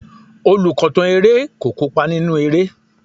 Olùkọ̀tàn eré kò kópa nínú eré.